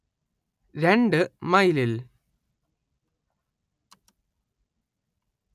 രണ്ട്‌ മൈലിൽ